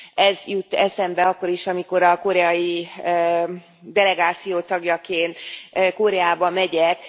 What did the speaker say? Ez jut eszembe akkor is, amikor a koreai delegáció tagjaként Koreába megyek.